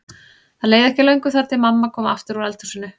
Það leið ekki á löngu þar til mamma kom aftur úr eldhúsinu.